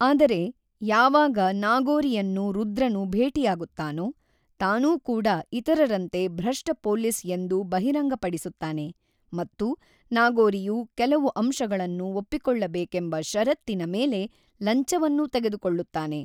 ಆದರೆ ಯಾವಾಗ ನಾಗೋರಿಯನ್ನು ರುದ್ರನು ಭೇಟಿಯಾಗುತ್ತಾನೊ ತಾನೂ ಕೂಡ ಇತರರಂತೆ ಭ್ರಷ್ಟ ಪೋಲೀಸ್ ಎಂದು ಬಹಿರಂಗಪಡಿಸುತ್ತಾನೆ ಮತ್ತು ನಾಗೋರಿಯು ಕೆಲವು ಅಂಶಗಳನ್ನು ಒಪ್ಪಿಕೊಳ್ಳಬೇಕೆಂಬ ಷರತ್ತಿನ ಮೇಲೆ ಲಂಚವನ್ನೂ ತೆಗೆದುಕೊಳ್ಳುತ್ತಾನೆ.